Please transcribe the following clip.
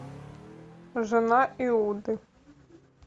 жена иуды